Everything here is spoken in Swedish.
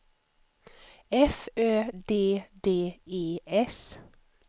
F Ö D D E S